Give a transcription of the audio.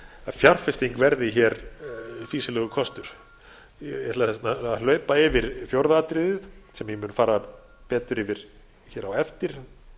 fjárfesting verði fýsilegur kostur ég ætla að hlaupa yfir fjórða atriðið sem ég mun fara betur yfir á eftir